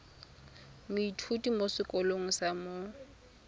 moithuti mo sekolong sa mo